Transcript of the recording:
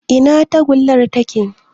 Ina tagullar take?